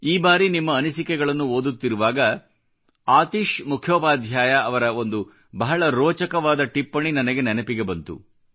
ಈ ಬಾರಿ ನಿಮ್ಮ ಅನಿಸಿಕೆಗಳನ್ನು ಓದುತ್ತಿರುವಾಗ ಆತೀಷ್ ಮುಖ್ಯೋಪಾಧ್ಯಾಯ ಅವರ ಒಂದು ಬಹಳ ರೋಚಕವಾದ ಟಿಪ್ಪಣಿ ನನಗೆ ನೆನಪಿಗೆ ಬಂತು